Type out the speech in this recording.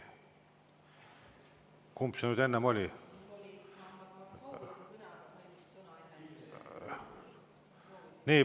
Kumb see nüüd enne oli?